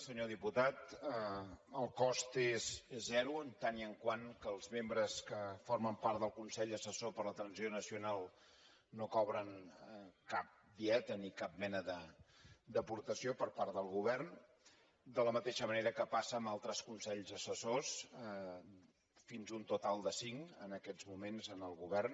senyor diputat el cost és zero en tant que els membres que formen part del consell assessor per a la transició nacional no cobren cap dieta ni cap mena d’aportació per part del govern de la mateixa manera que passa amb altres consells assessors fins a un total de cinc en aquests moments en el govern